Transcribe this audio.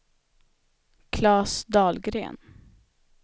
Klas Dahlgren